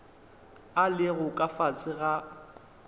a lego ka fase ga